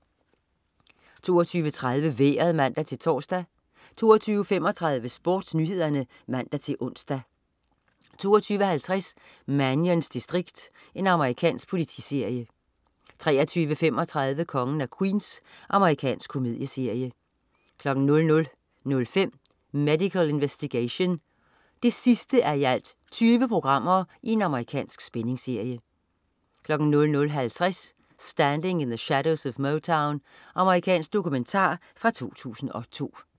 22.30 Vejret (man-tors) 22.35 SportsNyhederne (man-ons) 22.50 Mannions distrikt. Amerikansk politiserie 23.35 Kongen af Queens. Amerikansk komedieserie 00.05 Medical Investigation 20:20. Amerikansk spændingsserie 00.50 Standing in the Shadows of Motown. Amerikansk dokumentar fra 2002